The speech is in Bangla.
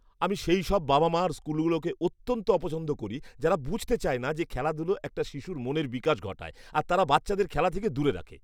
আমি সেইসব বাবা মা আর স্কুলগুলোকে অত্যন্ত অপছন্দ করি যারা বুঝতে চায় না যে খেলাধূলা একটা শিশুর মনের বিকাশ ঘটায় আর তারা বাচ্চাদের খেলা থেকে দূরে রাখে।